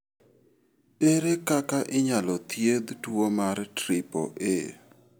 Ere kaka inyalo thiedh tuwo mar triple A?